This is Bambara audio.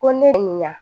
Ko ne ye nin ɲa